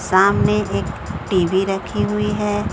सामने एक टी_वी रखी हुई है।